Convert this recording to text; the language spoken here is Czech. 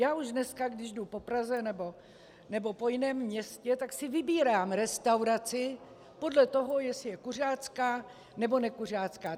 Já už dneska, když jdu po Praze nebo po jiném městě, tak si vybírám restauraci podle toho, jestli je kuřácká, nebo nekuřácká.